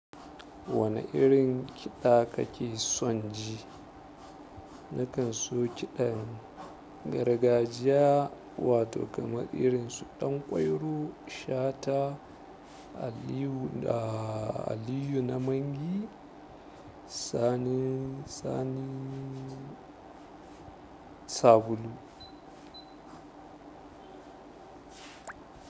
Wane irin kiɗa kake son ji? Nakan so kiɗan gargajiya wato kamar irin su ɗanƙwairo, shata, aliyu na mangi, sanin, sani, sabulu.